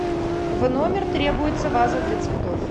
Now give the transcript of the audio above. в номер требуется ваза для цветов